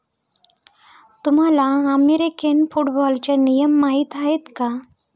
तुम्हाला अमेरिकन फुटबॉलचे नियम माहीत आहेत का?